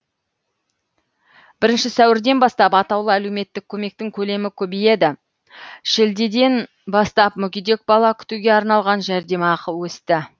бірінші сәуірден бастап атаулы әлеуметтік көмектің көлемі көбейді шілдеден бастап мүгедек бала күтуге арналған жәрдемақы өсті